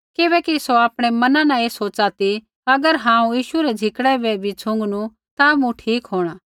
किबैकि सौ आपणै मना न ऐ सोच़ा ती अगर हांऊँ यीशु रै झिकड़ै बै भी छ़ुँगनू ता मूँ ठीक होंणा